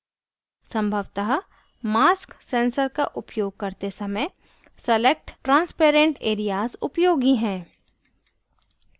संभवतः mask sensor का उपयोग करते समय select transparent एरियाज़ उपयोगी हैं